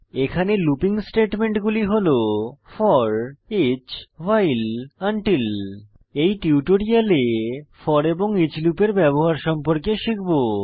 এখানে লুপিং স্টেটমেন্টগুলি হল ফোর ইচ 000049 000048 ভাইল আনটিল এই টিউটোরিয়ালে ফোর এবং ইচ লুপের ব্যবহার সম্পর্কে শিখব